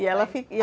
E ela i